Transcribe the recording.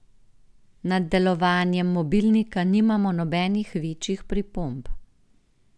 Nad delovanjem mobilnika nimamo nobenih večjih pripomb.